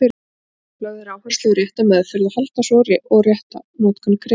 Lögð er áhersla á rétta meðferð áhalda svo og rétta notkun krydda.